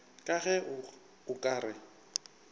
ka ge o ka re